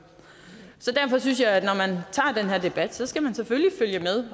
derfor synes jeg at den her debat skal man selvfølgelig følge med